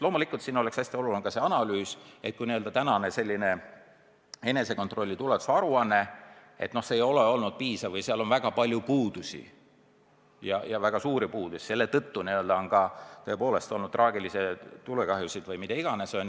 Loomulikult oleks hästi oluline analüüs, kas praegustest enesekontrolli tuleohutusaruannetest on piisanud või on nendega seotud väga palju puudusi, ka suuri puudusi, mille tõttu on olnud traagilisi tulekahjusid või mida iganes.